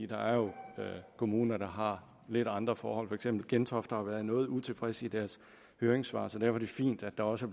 der er jo kommuner der har lidt andre forhold for eksempel har gentofte været noget utilfreds i deres høringssvar så derfor er det fint at der også